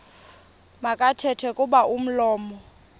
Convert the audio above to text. makathethe kuba umlomo